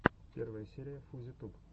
первая серия фузи туб